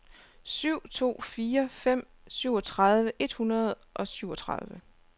syv to fire fem syvogtredive et hundrede og syvogtredive